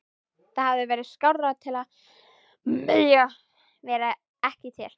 Það hefði verið skárra að mega vera ekki til.